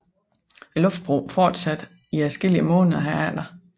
Luftbroen fortsatte i adskillige måneder herefter